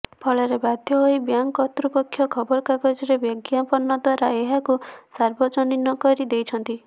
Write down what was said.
ଫଳରେ ବାଧ୍ୟ ହୋଇ ବ୍ୟାଙ୍କ କର୍ତ୍ତୃପକ୍ଷ ଖବରକାଗଜରେ ବିଜ୍ଞାପନ ଦ୍ୱାରା ଏହାକୁ ସାର୍ବଜନୀନ କରି ଦେଇଛନ୍ତି